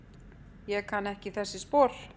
Ég kann ekki þessi spor.